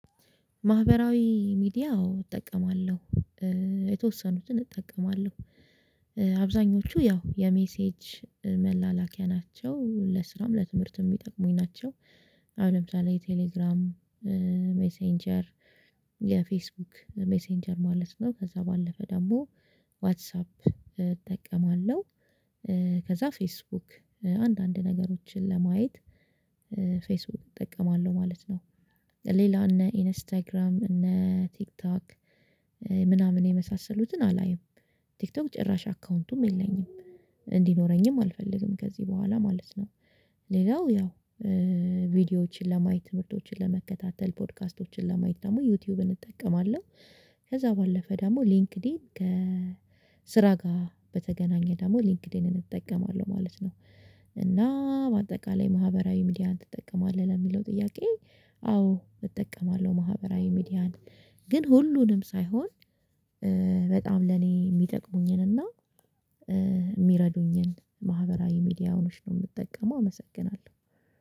ማህበራዊ ሚዲያ አዋ እጠቀማለሁ። የተወሰኑትን እጠቀማለሁ አብዛኞቹ ያው የሜሴጅ መላላኪያ ናቸው ለስራም ለትምህርትም የሚጠቅሙኝ ናቸው። አሁን ለምሳሌ ቴሌግራም ሜሴንጀር የፌስቡክ ሜሴንጀር ማለት ነው ከዛ ባለፈ ደግሞ ዋትሳፕ እጠቀማለሁ። ከዛ ፌስቡክ አንዳንድ ነገሮችን ለማየት ፌስቡክ እጠቀማለሁ ማለት ነው። ሌላ እነ ኢንስታግራም እነ ቲክቶክ ምናምን የመሳሰሉትን አላይም። ቲክቶክ ጭራሽ አካውንቱም የለኝም እንዲኖረኝም አልፈልግም ከዚህ በኋላ ማለት ነው። ሌላው ያው ቪዲዮዎችን ለማየት ትምህርቶችን ለመከታተል ፖድካስቶችን ለማየት ደግሞ ዩቲዩብን እጠቀማለሁ። ከዛ ባለፈ ደግሞ ሊንክድኢን ከ ስራ ጋር በተገናኘ ደግሞ ሊንክድኢንን እጠቀማለሁ ማለት ነው። እና በአጠቃላይ ማህበራዊ ሚዲያን ትጠቀማለህ ለሚለው ጥያቄ? አዎ እጠቀማለሁ ማህበራዊ ሚዲያን ግን ሁሉንም ሳይሆን በጣም ለኔ የሚጠቅሙኝን እና ማህበራዊ ሚዲያዋች ነው የምጠቀመው አመሰግናለሁ